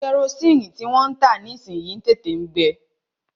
Kẹrosini tí wọ́n ń tà nísìyi ń tètè ń gbe.